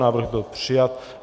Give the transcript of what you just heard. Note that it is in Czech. Návrh byl přijat.